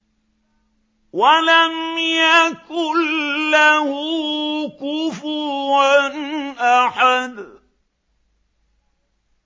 وَلَمْ يَكُن لَّهُ كُفُوًا أَحَدٌ